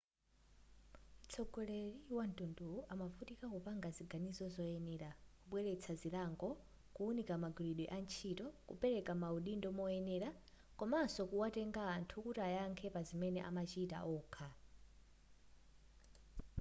mtsogoleri wamtunduwu amavutika kupanga ziganizo zoyenera kubweletsa zilango kuunika magwiridwe antchito kupereka maudindo moyenera komaso kuwatenga anthu kuti ayankhe pazimene amachita okha